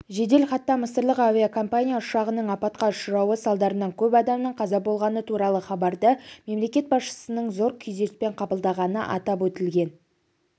жеделхатта мысырлық авиакомпания ұшағының апатқа ұшырауы салдарынан көп адамның қаза болғаны туралы хабарды мемлекет басшысының зор күйзеліспен қабылдағаны атап өтілген